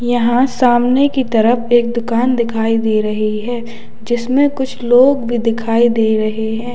यहां सामने की तरफ एक दुकान दिखाई दे रही है जिसमें कुछ लोग भी दिखाई दे रहे हैं।